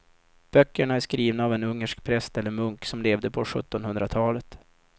Böckerna är skrivna av en ungersk präst eller munk som levde på sjuttonhundratalet.